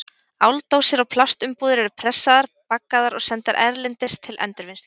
Áldósir og plastumbúðir eru pressaðar, baggaðar og sendar erlendis til endurvinnslu.